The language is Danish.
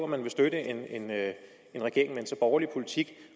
man vil støtte en regering en så borgerlig politik